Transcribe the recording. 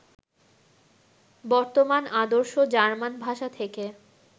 বর্তমান আদর্শ জার্মান ভাষা থেকে